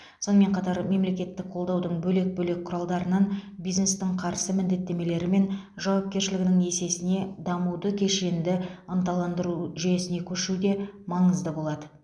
сонымен қатар мемлекеттік қолдаудың бөлек бөлек құралдарынан бизнестің қарсы міндеттемелері мен жауапкершілігінің есесіне дамуды кешенді ынталандыру жүйесіне көшу де маңызды болады